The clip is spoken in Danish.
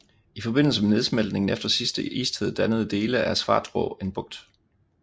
I forbindelse med nedsmeltningen efter sidste istid dannede dele af Svartrå en bugt